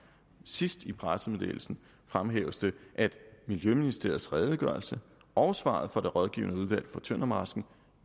sidst i pressemeddelelsen fremhæves det miljøministeriets redegørelse og svaret fra det rådgivende udvalg for tøndermarsken